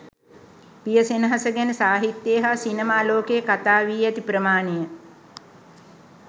පිය සෙනෙහස ගැන සාහිත්‍යයේ හා සිනමා ලෝකයේ කතා වී ඇති ප්‍රමාණය